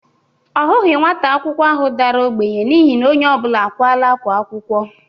Ọ hụghị nwata akwụkwọ ahụ dara ogbenye n'ihi na onye ọbụla ákwá akwụkwọ.